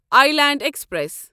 I land express